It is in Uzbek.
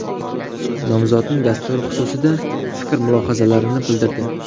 Nomzodning dasturi xususida fikr-mulohazalarini bildirdi.